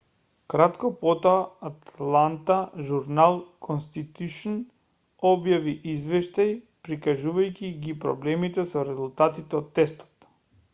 кратко потоа атланта журнал-конститушн објави извештај прикажувајќи ги проблемите со резултатите од тестот